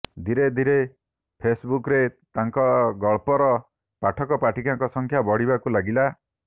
ଧୀରେ ଧୀରେ ଫେସ୍ବୁକ୍ରେ ତାଙ୍କ ଗଳ୍ପର ପାଠକପାଠିକାଙ୍କ ସଂଖ୍ୟା ବଢ଼ିବାକୁ ଲାଗିଲା